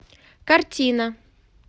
картина